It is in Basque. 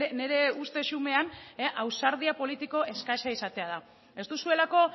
nire uste xumean ausardia politiko eskasa izatea da ez duzuelako